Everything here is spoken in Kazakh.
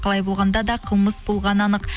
қалай болғанда да қылмыс болғаны анық